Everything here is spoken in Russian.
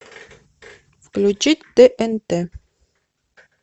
включить тнт